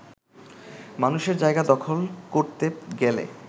মানুষের জায়গা দখল করতে গেলে